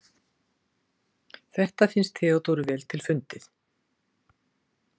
Þetta finnst Theodóru vel til fundið.